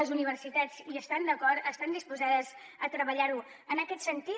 les universitats hi estan d’acord estan disposades a treballar en aquest sentit